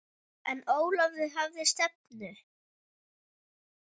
En Ólafur hafði stefnu.